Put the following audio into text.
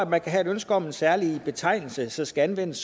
man kan have et ønske om en særlig betegnelse som skal anvendes